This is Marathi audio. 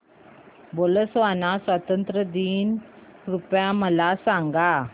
बोत्सवाना स्वातंत्र्य दिन कृपया मला सांगा